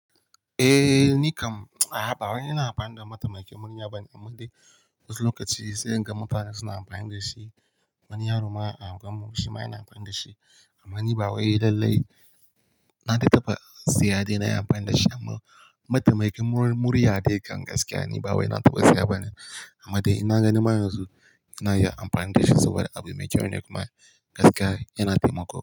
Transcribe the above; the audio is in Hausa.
Eh ni kam ba wai ina amfani da mataimakin murya bane, amma dai wasu lokaci sai in ga mutane suna amfani da shi. Wani yaro ma a unguwar mu shima yana amfani da shi. Amma ni ba wai lallai na dai taba siya dai na yi amfani da shi amma mataimakin mur-murya dai kam gaskiya ni ba wai na taba saya ba ne. Amma dai ina ganin ma yanzu ina iya amfani da shi saboda abu mai kyau ne kuma gaskiya yana taimako.